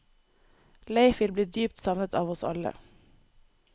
Leif vil bli dypt savnet av oss alle.